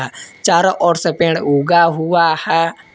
अह चारों ओर से पेड़ उगा हुआ है।